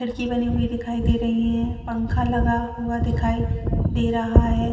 खिड़की बनी हुई दिखाई दे रहीं है पंखा लगा हुआ दिखाई दे रहा है।